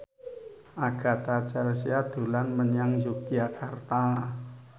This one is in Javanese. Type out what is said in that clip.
Agatha Chelsea dolan menyang Yogyakarta